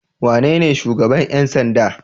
Wanene shugaban ƴan sanda?